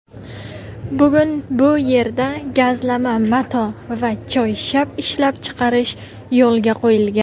Bugun bu yerda gazlama mato va choyshab ishlab chiqarish yoʼlga qoʼyilgan.